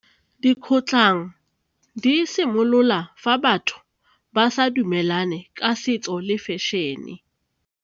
Dikgotlhang di simolola fa batho ba sa dumelane ka setso le fashion-e.